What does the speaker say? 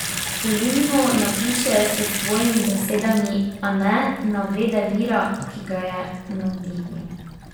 Kolumno napiše s svojimi besedami, a ne navede vira, ki ga je navdihnil.